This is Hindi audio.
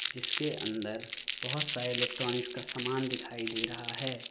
जिसके अंदर बहुत सारे इलेक्ट्रॉनिक्स का सामान दिखाई दे रहा है।